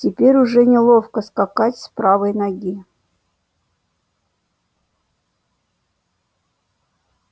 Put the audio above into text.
теперь уже неловко скакать с правой ноги